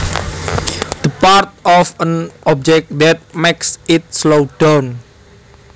The part of an object that makes it slow down